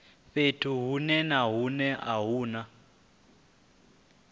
fhethu hunwe na hunwe hune